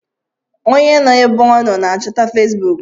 Onye nọ ébé ọ nọ n'achọta Fesbụụk.